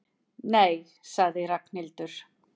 Nei sagði Ragnhildur.